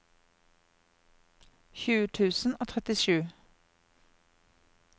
tjue tusen og trettisju